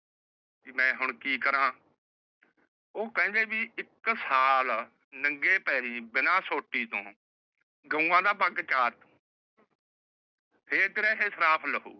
ਕਿ ਮੈ ਹੁਣ ਕਿ ਕਰਾ। ਉਹ ਕਹਿੰਦੇ ਵੀ ਇੱਕ ਸਾਲ ਨੰਗੇ ਪੈਰੀ ਬਿਨਾ ਸੋਟੀ ਤੋਂ ਗਊਆਂ ਦਾ ਵੱਗ ਚਾਰ। ਫੇਰ ਤੇਰਾ ਇਹ ਸਰਾਪ ਲਾਹੁਗਾ।